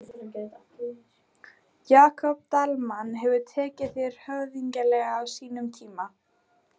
Jakob Dalmann hefur tekið þér höfðinglega á sínum tíma?